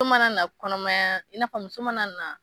ma na na kɔnɔmaya, i na fɔ muso ma na na